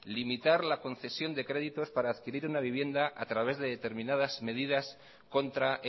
limitar la concesión de créditos para adquirir una vivienda a través de determinadas medidas contra